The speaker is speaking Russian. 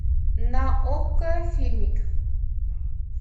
на окко фильмик